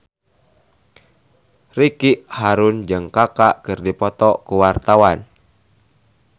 Ricky Harun jeung Kaka keur dipoto ku wartawan